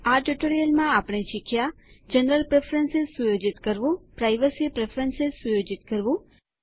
આ ટ્યુટોરીયલમાં આપણે શીખ્યા160 જનરલ પ્રેફરન્સ સુયોજિત કરવું પ્રાઇવસી પ્રેફરન્સ સુયોજિત કરવું